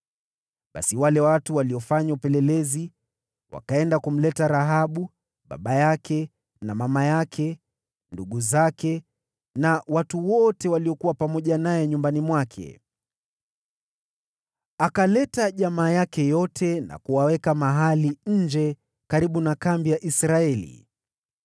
Basi wale vijana waliofanya upelelezi wakaenda kumleta Rahabu, baba yake na mama yake, na ndugu zake na watu wote waliokuwa pamoja naye. Wakaleta jamaa yake yote na kuwaweka mahali nje ya kambi ya Israeli.